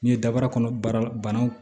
N'i ye dabaara kɔnɔ baara bannaw